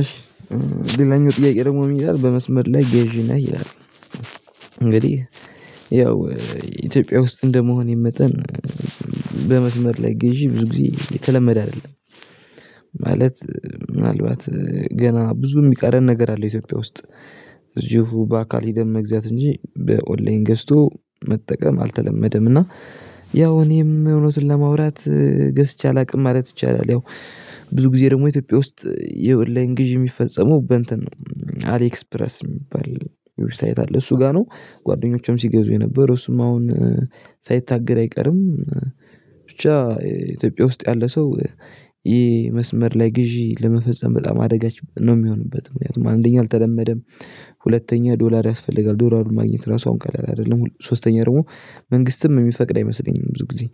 እሺ ሌላኛው ጥያቄ ደግሞ ምን ይላል በመስመር ላይ ገዢ ነህ ይላል? እንግዲህ ኢትዮጵያ ውስጥ እንደመሆኔ መጠን በመስመር ላይ ገዢ ብዙ ጊዜ የተለመደ አይደለም። ማለት ምናልባት ገና ብዙ የሚቀረን ነገር አለ ኢትዮጵያ ውስጥ እዚሁ በአካል ሄደን መግዛት እንጂ በኦንላይን ገዝቶ መጠቀም አልተለመደም እና ያው እኔም እውነትን ለማውራት ገዝቼ አላውቅም ማለት ይቻላል። ያው ብዙ ጊዜ ደግሞ ኢትዮጵያ ውስጥ የኦንላይን ላይ ግዢ የሚፈጸመው በእንትን አሊኤክስፕረስ የሚባል ዌብሳይት አለ እሱ ጋር ነው ጓደኞቼም ሲገዙ የነበረው እሱም አሁን ሳይታገድ አይቀርም። ብቻ ኢትዮጵያ ውስጥ ያለ ሰው ይሄ መስመር ላይ ግዢ ለመፈጸም በጣም አደጋች ነው የሚሆንበት ምክንያቱም አንደኛ አልተለመደም። ሁለተኛ ዶላር ያስፈልጋል ዶላሩን ማግኘት ራሱ አሁን ቀላል አይደለም። ሶስተኛ ደግሞ መንግስትም የሚፈቅድ አይመስለኝም። ብዙ ጊዜ